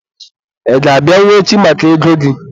Ị ga-abịanwu echi maka ego gị?